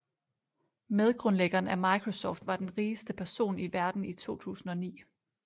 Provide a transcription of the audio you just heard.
Medgrundlæggeren af microsoft var den rigeste person i verden i 2009